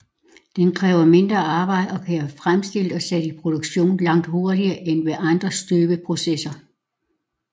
Den kræver mindre arbejde og kan være fremstillet og sat i produktion langt hurtigere end ved andre støbeprocesser